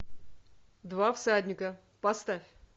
два всадника поставь